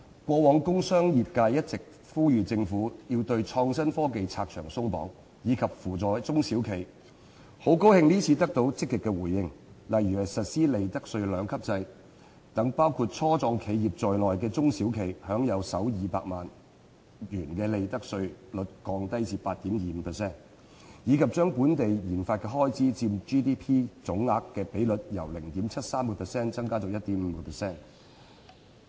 過往工商業界一直呼籲政府要對創新科技發展"拆牆鬆綁"，以及扶助中小企，很高興這次得到積極回應，例如實施利得稅兩級制，讓包括初創企業在內的中小企享用首200萬元的利得稅率低至 8.25%， 以及把本地研發總開支佔 GDP 的比率由 0.73% 增至 1.5%。